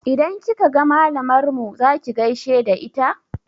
Idan kika ga malamar mu za ki gaishe da ita?